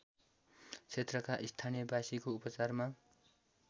क्षेत्रका स्थानीयवासीको उपचारमा